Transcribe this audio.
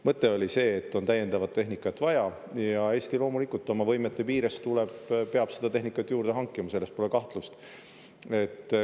Mõte oli see, et on täiendavat tehnikat vaja ja Eesti, loomulikult oma võimete piires, peab seda tehnikat juurde hankima, selles pole kahtlust.